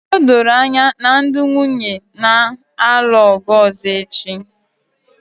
O doro anya na ndị nwunye na-alụ ọgụ ọzọ echi